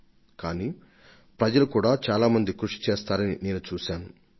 పరిస్థితిని ఎదురించడానికి పౌరులు అభినందనీయమైన కృషికి నడుంకడుతున్నారు